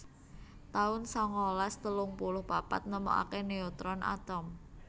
taun sangalas telung puluh papat Nemokaken neutron alon